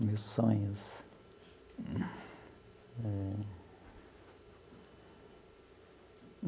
meus sonhos.